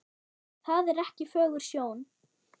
Það er ekki fögur sjón.